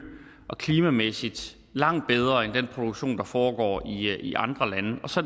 og klimamæssigt langt bedre end den produktion der foregår i andre lande og så